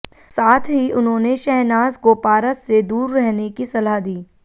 साथ ही उन्होंने शहनाज को पारस से दूर रहने की सलाह दी